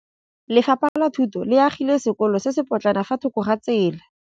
Lefapha la Thuto le agile sekôlô se se pôtlana fa thoko ga tsela.